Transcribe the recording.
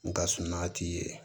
N ka suma t'i ye